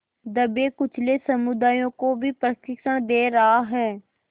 दबेकुचले समुदायों को भी प्रशिक्षण दे रहा है